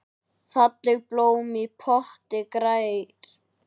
Fallegt blóm í potti grær.